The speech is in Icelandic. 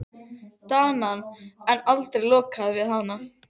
Ást okkar blómstrar í skjóli járnrimla og múrveggja.